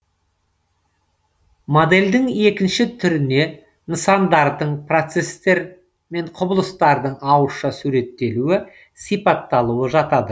модельдің екінші түріне нысандардың процестер мен құбылыстардың ауызша суреттелуі сипатталуы жатады